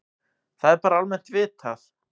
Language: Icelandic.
Það er bara almennt vitað.